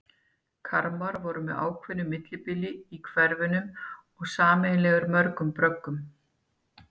Kamrar voru með ákveðnu millibili í hverfunum og sameiginlegir mörgum bröggum.